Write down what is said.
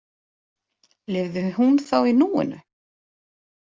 Lifði hún þá í núinu?